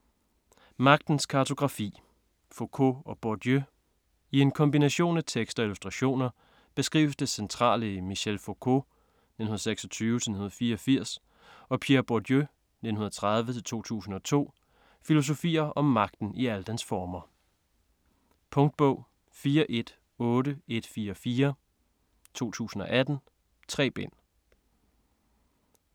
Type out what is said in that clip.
Magtens kartografi: Foucault og Bourdieu I en kombination af tekst og illustrationer beskrives det centrale i Michel Foucaults (1926-1984) og Pierre Bourdieus (1930-2002) filosofier om magten i alle dens former. Punktbog 418144 2018. 3 bind.